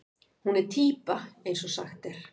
Hún er týpa eins og sagt er.